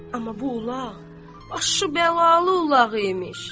Amma bu ulaq başı bəlalı ulaq imiş.